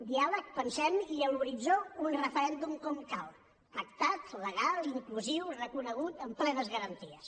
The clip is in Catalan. diàleg pensem i a l’horitzó un referèndum com cal pactat legal inclusiu reconegut amb plenes garanties